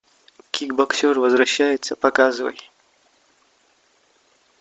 кикбоксер возвращается показывай